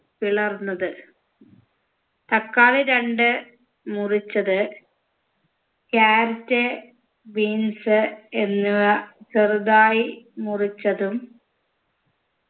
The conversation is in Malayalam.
പിളർന്നത് തക്കാളി രണ്ട് മുറിച്ചത് carrot beans എന്നിവ ചെറുതായി മുറിച്ചതും